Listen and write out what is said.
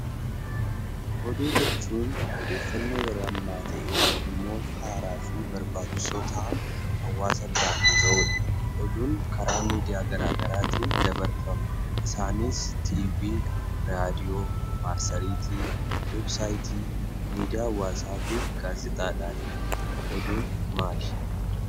Oduu jechuun odeeffannoo yeroo ammaa ta'ee , dhimmoota haaraa fi barbaachisoo ta'an hawaasa kan bira gahudha. Oduun karaa miidiyaa garaagaraatiin dabarfama isaanis tiivii, raadiyoo, maarsariitii fi weebsaayitii miidiyaa gaazexaadhaani. Oduun maali?